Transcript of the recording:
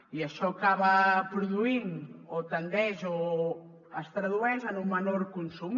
i això acaba produint o tendeix o es tradueix en un menor consum